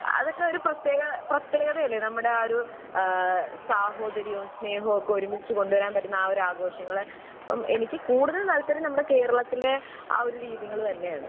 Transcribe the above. അതൊക്കെ ഒരു പ്രത്യേക പ്രത്യേകതയല്ലേ നമ്മുടെ. ആ ഒരു ഏഹ് സാഹോദര്യവും സ്നേഹവുമൊക്കെ ഒരുമിച്ച് കൊണ്ട് വരാൻ പറ്റുന്ന ആ ഒരു ആഘോഷങ്ങൾ. എനിക്ക് കൂടുതൽ താല്പര്യം നമ്മുടെ കേരളത്തിലെ ആ ഒരു രീതികൾ തന്നെയാണ്.